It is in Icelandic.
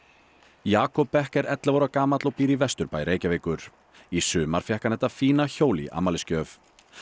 Jakob Beck er ellefu ára gamall og býr í Vesturbæ Reykjavíkur í sumar fékk hann þetta fína hjól í afmælisgjöf